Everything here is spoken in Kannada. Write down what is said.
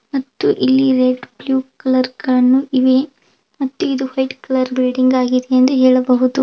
ಮತ್ತು ಇಲ್ಲಿ ರೆಡ್ ಬ್ಲೂ ಕಲರ್ ಕಣ್ ಇವೇ ಮತ್ತು ಇದು ವೈಟ್ ಕಲರ್ ಬಿಲ್ಡಿಂಗ್ ಆಗಿದೆ ಎಂದು ಹೇಳಬಹುದು.